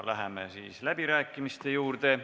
Läheme läbirääkimiste juurde.